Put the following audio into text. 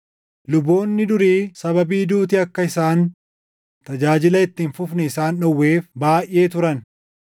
Luboonni durii sababii duuti akka isaan tajaajila itti hin fufneef isaan dhowweef baayʼee turan;